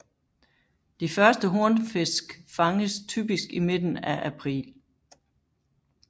De første hornfisk fanges typisk i midten af april